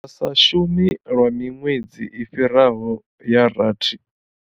Vha sa shumi lwa miṅwedzi i fhiraho ya rathi.